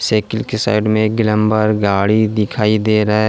Cycle के side में एक ग्लैम्बर गाड़ी दिखाई दे रहा है।